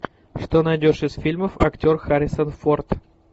что найдешь из фильмов актер харрисон форд